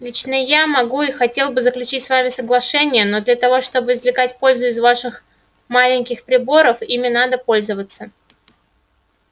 лично я могу и хотел бы заключить с вами соглашение но для того чтобы извлекать пользу из ваших маленьких приборов ими надо пользоваться